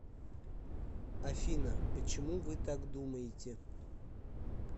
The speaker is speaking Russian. афина почему вы так думаете